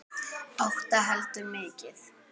Átta heldur mikið.